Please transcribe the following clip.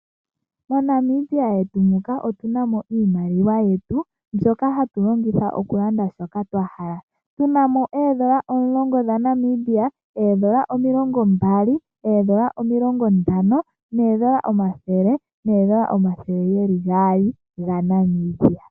MoNamibia yetu otu namo iimaliwa yetu mbyoka hatu longitha okulanda shoka twa hala tu namo oondola omulongo dhaNamibia, oondola omilongo mbali, oondola omilongo ntano noondola ombathele noondola omathele gaali gaNamibia.